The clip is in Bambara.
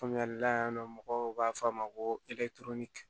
Faamuyali la yan nɔ mɔgɔw b'a fɔ a ma ko